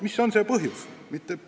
Mis on see põhjus?!